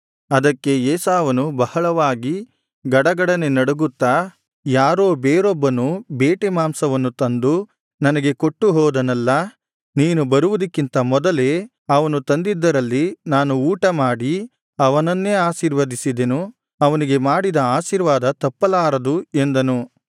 ಅದಕ್ಕೆ ಇಸಾಕನು ಬಹಳವಾಗಿ ಗಡಗಡನೆ ನಡುಗುತ್ತಾ ಯಾರೋ ಬೇರೊಬ್ಬನು ಬೇಟೆ ಮಾಂಸವನ್ನು ತಂದು ನನಗೆ ಕೊಟ್ಟುಹೋದನಲ್ಲಾ ನೀನು ಬರುವುದಕ್ಕಿಂತ ಮೊದಲೇ ಅವನು ತಂದಿದ್ದರಲ್ಲಿ ನಾನು ಊಟಮಾಡಿ ಅವನನ್ನೇ ಆಶೀರ್ವದಿಸಿದೆನು ಅವನಿಗೆ ಮಾಡಿದ ಆಶೀರ್ವಾದ ತಪ್ಪಲಾರದು ಎಂದನು